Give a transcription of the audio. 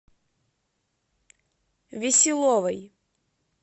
веселовой